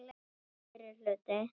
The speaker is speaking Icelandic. FYRRI HLUTI